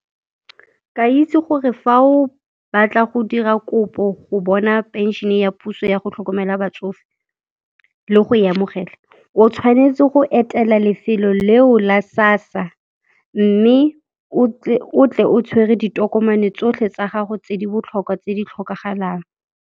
Ke a itse gore fa o batla go dira kopo go bona phenšene ya puso ya go tlhokomela batsofe le go e amogela, o tshwanetse go etela lefelo leo la SASSA, mme o tle o tshwere ditokomane tsotlhe tsa gago tse di botlhokwa tse di tlhokagalang.